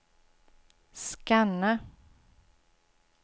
scanna